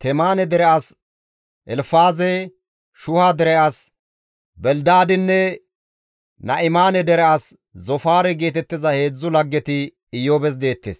Temaane dere as Elfaaze, Shuha dere as Belidaadinne Na7imaane dere as Zoofaare geetettiza heedzdzu laggeti Iyoobes deettes.